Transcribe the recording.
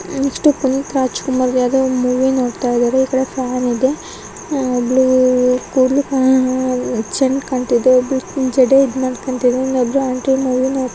ಇಷ್ಟು ಪುನೀತ್ ರಾಜ್ ಕುಮಾರ್ ಯಾವ್ದೋ ಮೂವಿ ನೋಡ್ತಾ ಇದಾರೆ ಈ ಕಡೆ ಫ್ಯಾನ್ ಇದೆ ಅಹ್ ಒಬ್ಬಳು ಕೂದ್ಲು ಕಾ ಅಹ್ ಚಂದ್ ಕಾಣ್ತಿದೆ ಒಬ್ಬಳು ಜಡೇ ಇದ್ಮಾಡ್ಕೋತಿದಾಳೆ ಒಬ್ಬರು ಆಂಟೀ ಮೂವಿ --